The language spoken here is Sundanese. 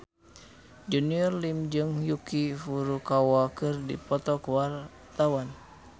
Junior Liem jeung Yuki Furukawa keur dipoto ku wartawan